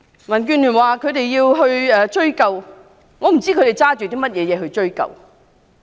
民建聯表示要追究，但我不知道他們憑甚麼去追究。